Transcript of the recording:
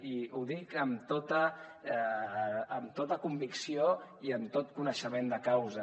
i ho dic amb tota convicció i amb tot coneixement de causa